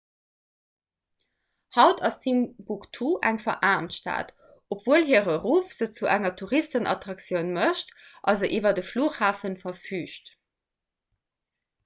haut ass timbuktu eng veraarmt stad obwuel hire ruff se zu enger touristenattraktioun mécht a se iwwer e flughafen verfüügt